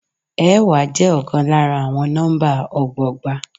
Ẹẹ́wa je ọkàn lára àwọn nọ́mbà ọgbọgba.